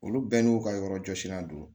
Olu bɛɛ n'u ka yɔrɔ jɔsilan don